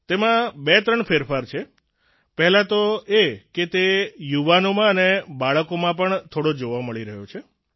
તેમાં બેત્રણ ફેરફાર છે પહેલાં તો એ કે તે યુવાનોમાં અને બાળકોમાં પણ થોડો જોવા મળી રહ્યો છે